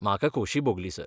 म्हाका खोशी भोगली, सर.